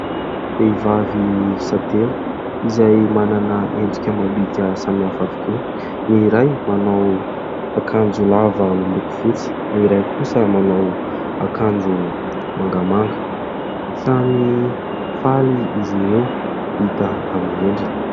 Vehivavy miisa telo izay manana endrika amam-bika samihafa avokoa. Ny iray manao akanjo lava miloko fotsy, ny iray kosa manao akanjo mangamanga. Samy faly izy ireo hita amin'ny endriny.